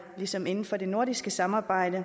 ligesom inden for det nordiske samarbejde